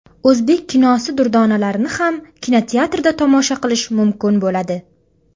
O‘zbek kinosi durdonalarini ham kinoteatrda tomosha qilish mumkin bo‘ladi.